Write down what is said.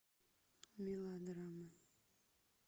мелодрама